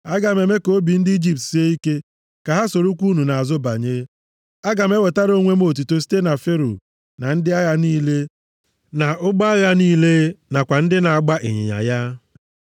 Aga m eme ka obi ndị Ijipt sie ike, ka ha sorokwa unu nʼazụ banye. Aga m ewetara onwe m otuto site na Fero, na ndị agha niile, na ụgbọ agha niile nakwa ndị na-agba ịnyịnya ya.